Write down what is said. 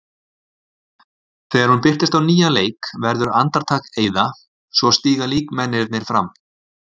Þegar hún birtist á nýjan leik verður andartak eyða, svo stíga líkmennirnir fram.